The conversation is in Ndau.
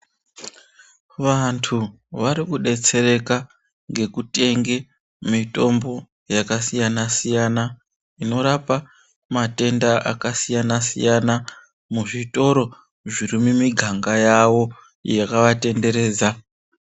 Vantu vari kudetsereka ngekutenge mitombo yakasiyana siyana inorapa matenda akasiyana siyana muzvitoro zviri mumiganga yawo yakavatenderedza.